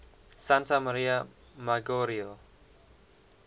santa maria maggiore